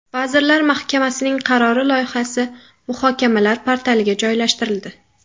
Vazirlar Mahkamasining qarori loyihasi muhokamalar portaliga joylashtirildi.